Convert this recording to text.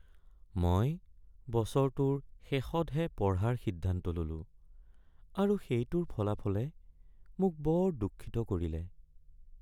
মই বছৰটোৰ শেষতহে পঢ়াৰ সিদ্ধান্ত ল’লোঁ আৰু সেইটোৰ ফলাফলে মোক বৰ দুঃখিত কৰিলে।